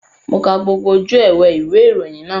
Mo ka gbogbo ojú ewé ìwé ìròyìn náà